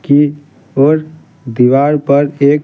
की ओरदीवार पर एक--